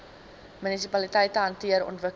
munisipaliteite hanteer ontwikkeling